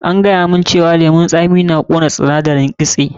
An gaya mun cewa lemun tsami na ƙona sindarin kitse.